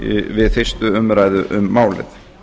við fyrstu umræðu um málið